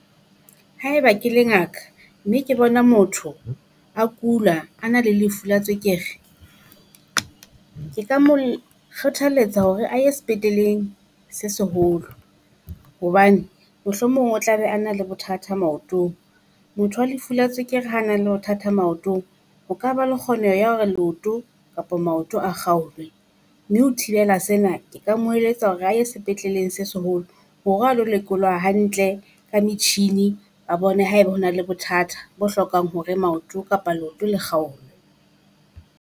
Haeba ke le ngaka mme ke bona motho a kula a na le lefu la tswekere, ke ka mo kgothaletsa hore a ye sepetleleng se seholo. Hobane mohlomong o tla be a na le bothata maotong. Motho wa lefu la tswekere ha na le bothata maotong ho ka ba le kgoneho ya hore leoto kapo maoto a kgaolwe. Mme ho thibela sena, ke ka mo eletsa hore a ye sepetleleng se seholo hore a lo lekolwa hantle ka metjhini ba bone haebe ho na le bothatha bo hlokang hore maoto kapa leoto la kgaolwe.